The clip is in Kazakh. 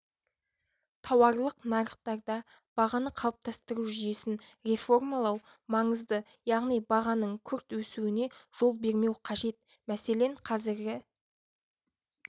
тауарлық нарықтарда бағаны қалыптастыру жүйесін реформалау маңызды яғни бағаның күрт өсуіне жол бермеу қажет мәселен қазіргі